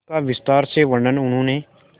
इसका विस्तार से वर्णन उन्होंने